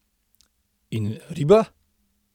In riba?